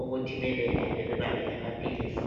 ukuthi babelaphe bebaphe lamaphilisi.